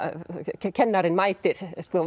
kennarinn mætir